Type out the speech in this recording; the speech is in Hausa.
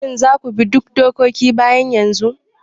Shin za ku bi duk dokoki bayan yanzu?